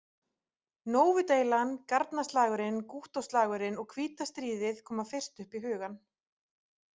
Nóvu- deilan, Garnaslagurinn, Gúttó- slagurinn og Hvíta stríðið koma fyrst upp í hugann.